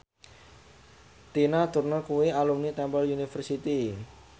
Tina Turner kuwi alumni Temple University